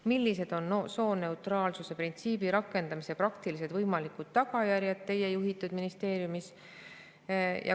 Millised on sooneutraalsuse printsiibi rakendamise praktilised võimalikud tagajärjed tema juhitud ministeeriumis?